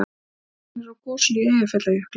Askan er úr gosinu í Eyjafjallajökli